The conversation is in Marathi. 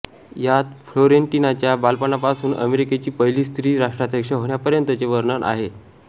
यात फ्लोरेन्टिनाच्या बालपणापासून अमेरिकेची पहिली स्त्री राष्ट्राध्यक्ष होण्यापर्यंतचे वर्णन आहे